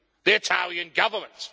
the Italian Government.